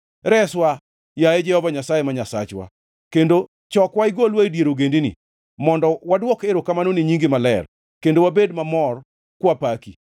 Reswa, yaye Jehova Nyasaye ma Nyasachwa, kendo chokwa igolwa e dier ogendini, mondo wadwok erokamano ne nyingi maler kendo wabed mamor kwapaki.